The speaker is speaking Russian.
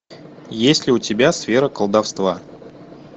есть ли у тебя сфера колдовства